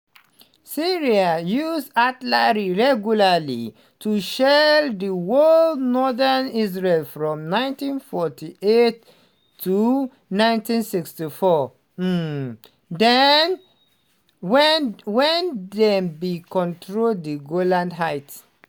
syria use artillery regularly to shell di whole of northern israel from 1948 to 1967 um wen dem bin control di golan heights.